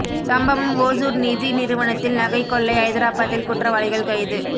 சம்பவம் ஓசூர் நிதி நிறுவனத்தில் நகை கொள்ளை ஐதராபாத்தில் குற்றவாளிகள் கைது